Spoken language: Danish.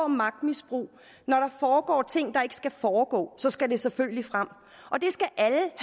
magtmisbrug når der foregår ting der ikke skal foregå så skal det selvfølgelig frem